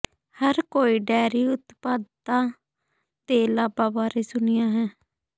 ਹਰ ਕੋਈ ਡੇਅਰੀ ਉਤਪਾਦਾਂ ਦੇ ਲਾਭਾਂ ਬਾਰੇ ਸੁਣਿਆ ਹੈ